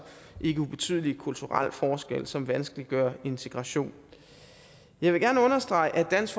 ikke ubetydelig kulturel forskel som vanskeliggør integration jeg vil gerne understrege at dansk